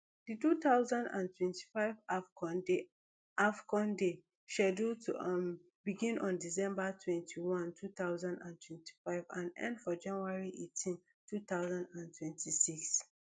di two thousand and twenty-five afcon dey afcon dey scheduled to um begin on december twenty-one two thousand and twenty-five and end for january eighteen two thousand and twenty-six